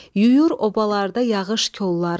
Yuyur obalarda yağış kolları.